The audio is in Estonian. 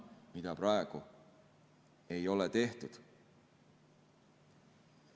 Seda praegu ei ole tehtud.